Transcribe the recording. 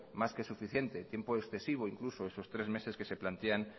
más que suficiente tiempo excesivo incluso esos tres meses que se plantean